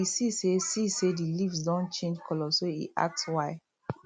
e see say see say the leaves don change colour so e ask why